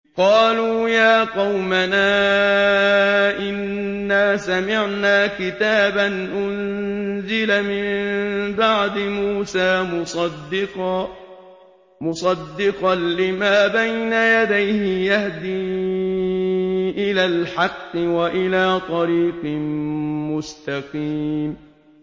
قَالُوا يَا قَوْمَنَا إِنَّا سَمِعْنَا كِتَابًا أُنزِلَ مِن بَعْدِ مُوسَىٰ مُصَدِّقًا لِّمَا بَيْنَ يَدَيْهِ يَهْدِي إِلَى الْحَقِّ وَإِلَىٰ طَرِيقٍ مُّسْتَقِيمٍ